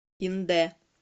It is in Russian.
индэ